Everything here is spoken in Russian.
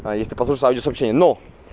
а если послушаешь радиосообщение ну